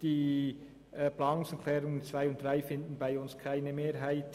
Die Anträge 2 und 3 finden bei uns keine Mehrheit.